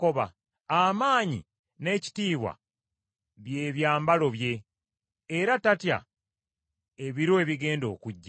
Amaanyi n’ekitiibwa bye byambalo bye, era tatya ebiro ebigenda okujja.